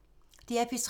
DR P3